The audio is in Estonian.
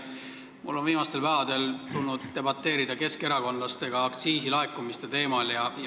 Mul on viimastel päevadel tulnud debateerida keskerakondlastega aktsiisilaekumiste teemal.